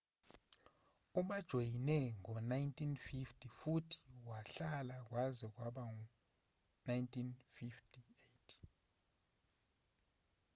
ubajoyine ngo-1945 futhi wahlala kwaze kwaba u-1958